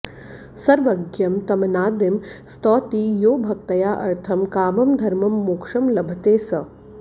सर्वज्ञं तमनादिं स्तौति यो भक्त्या अर्थं कामं धर्मं मोक्षं लभते सः